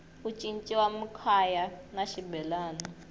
ku ciniwa makhwaya na xibelani